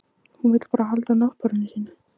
Hún vill bara halda náttborðinu sínu.